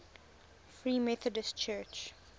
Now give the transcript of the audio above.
free methodist church